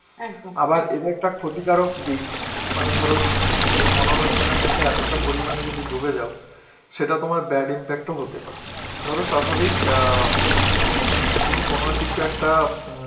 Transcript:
আবার এর একটা ক্ষতিকারক দিক, মানে ধরো তুমি এই মনোরঞ্জনের মধ্যে এতটা পরিমাণে যদি ডুবে যাও, সেটা তোমার bad impact ও হতে পারে. ধরো স্বাভাবিক অ্যাঁ তুমি কোন কিছু একটা উম